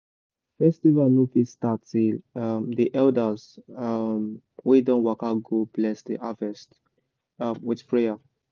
festival no fit start till um the elders um wey don waka go bless the harvest um with prayer.